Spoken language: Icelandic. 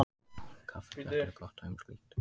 Kaffiblettir eru gott dæmi um slíkt.